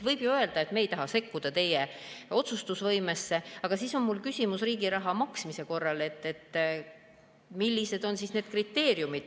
Võib ju öelda, et me ei taha sekkuda teie otsustusvõimesse, aga sel juhul on mul küsimus, millised on riigi raha maksmise korral kriteeriumid.